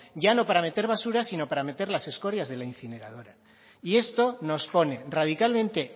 ya no para no meter basura sino para meter las escorias de la incineradora y esto nos pone radicalmente